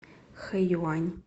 хэюань